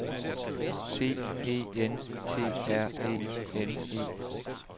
C E N T R E N E